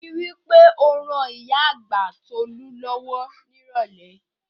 Rí i wí pé o ran ìyá àgbà Tolú lọ́wọ́ nírọ̀lẹ́